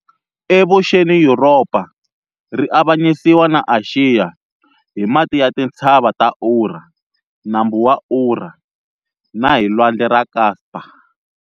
Evuxeni Yuropa ri avanyisiwa na Axiya hi mati ya Tintshava ta Ura, Nambu wa Ura, na hi Lwandle ra Kaspa.